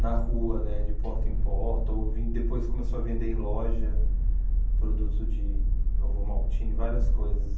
na rua, né, de porta em porta, ou ven depois começou a vender em loja, produto de ovomaltine, várias coisas.